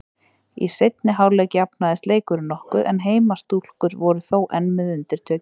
Í seinni hálfleik jafnaðist leikurinn nokkuð en heimastúlkur voru þó enn með undirtökin.